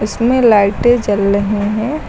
इसमें लाइटें जल रहे हैं।